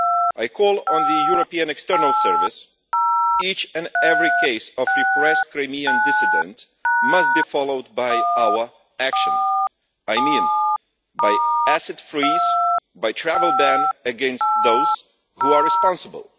I call on the European External Service each and every case of repressed Crimean dissidents must be followed by our action, I mean by asset freezing and a travel ban against those who are responsible.